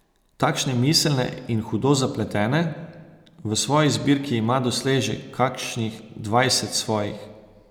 Takšne miselne in hudo zapletene, v svoji zbirki ima doslej že kakšnih dvajset svojih.